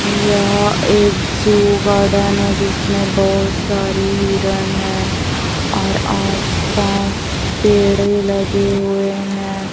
यह एक zoo garden है जिसमें बहोत सारी हिरण हैं और आस पास पेड़े लगे हुए हैं।